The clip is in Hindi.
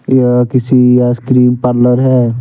यह किसी आइसक्रीम पार्लर है।